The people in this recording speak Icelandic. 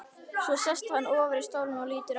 Svo sest hann ofar í stólinn og lítur á hana.